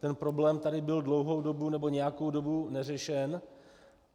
Ten problém tady byl dlouhou dobu, nebo nějakou dobu neřešen.